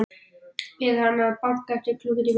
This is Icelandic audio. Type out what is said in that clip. Bið hana að banka eftir klukkutíma.